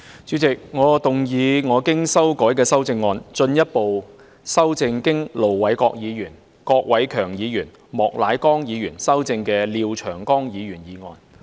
主席，我動議我經修改的修正案，進一步修正經盧偉國議員、郭偉强議員及莫乃光議員修正的廖長江議員議案。